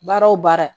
Baara o baara